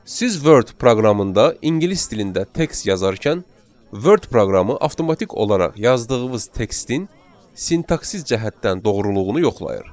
Siz Word proqramında ingilis dilində tekst yazarkən Word proqramı avtomatik olaraq yazdığınız tekstin sintaksis cəhətdən doğruluğunu yoxlayır.